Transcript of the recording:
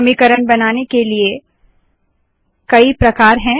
समीकरण बनाने के लिए कई प्रकार है